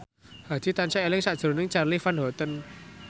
Hadi tansah eling sakjroning Charly Van Houten